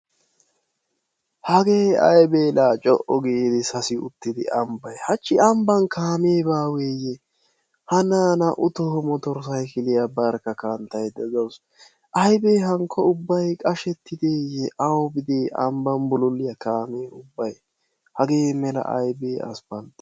Hagee aybee la co"u gidi sasi uttidi ambbay hachchi ambban kaamee baaweeyye Hanna ha naa"u toho motorsaykiliya barkka kanttaydda de'awusu. Aybee hankko ubbay qashettideeyye awubidee ambban bululiya kaamee ubbayi hagee mela aybee asppalttee.